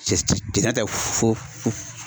Cɛ cɛ tɛ fo